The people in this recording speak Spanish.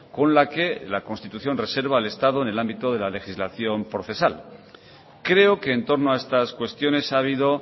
con la que la constitución reserva al estado en el ámbito de la legislación procesal creo que en torno a estas cuestiones ha habido